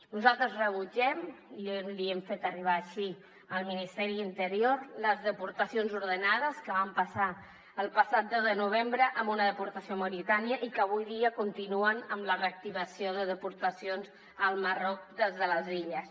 nosaltres rebutgem i l’hi hem fet arribar així al ministeri de l’interior les deportacions ordenades que van passar el passat deu de novembre amb una deportació a mauritània i que avui dia continuen amb la reactivació de deportacions al marroc des de les illes